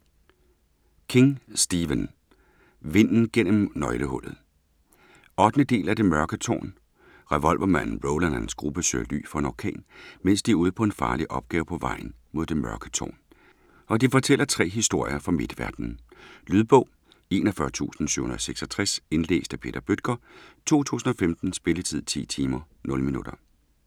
King, Stephen: Vinden gennem nøglehullet 8. del af Det mørke tårn. Revolvermanden Roland og hans gruppe søger ly for en orkan, mens de er ude på en farlig opgave på vejen mod Det Mørke Tårn, og de fortæller 3 historier fra Midtverden. Lydbog 41766 Indlæst af Peter Bøttger, 2015. Spilletid: 10 timer, 0 minutter.